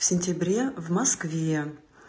в сентябре в москве